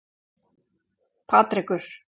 Patrekur